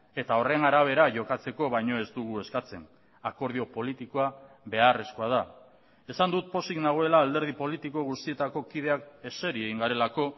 eta horren arabera jokatzeko baino ez dugu eskatzen akordio politikoa beharrezkoa da esan dut pozik nagoela alderdi politiko guztietako kideak eseri egin garelako